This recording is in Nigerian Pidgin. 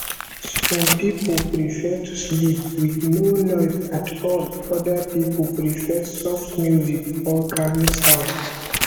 some pipo prefer to sleep with no noise at all oda pipo prefer soft music or calming sound